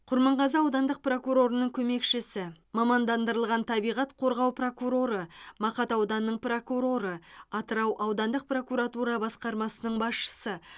құрманғазы аудандық прокурорының көмекшісі маманданған табиғат қорғау прокуроры мақат ауданының прокуроры атырау аудандық прокуратура басқармасының басшысы